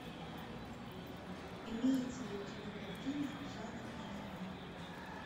имеется ли у тебя картина жанр аниме